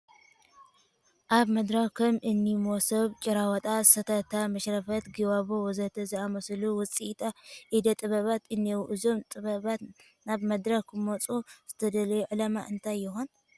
ኣብ መድረኽ ከም እኒ መሶብ፣ ጭራዋጣ፣ ሰተታ፣ መሽረፈት፣ ጊባቦ ወዘተ ዝኣምሰሉ ውፅኢት እደ ጥበባት እኔዉ፡፡ እዞም ጥበባት ናብ ምድረኽ ክመፁ ዝተደለየሉ ዕላማ እንታይ ይኾን?